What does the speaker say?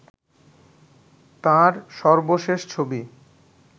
তাঁর সর্বশেষ ছবি